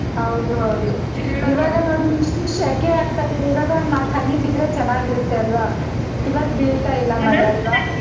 ಹೌದು ಹೌದು ಇವಾಗ ನೋಡಿ ಎಷ್ಟು ಶೆಕೆ ಆಗ್ತಿದೆ ಇವಾಗ ಒಂದ್ನಾಕ್ ಹನಿ ಬಿದ್ರೆ ಚೆನ್ನಾಗಿರುತ್ತೆ ಅಲ್ವಾ ಇವಾಗ್ ಬೀಳತಾ ಇಲ್ಲ ಮಳೆ ಅಲ್ವಾ.